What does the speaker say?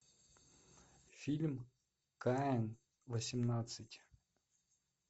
фильм каин восемнадцать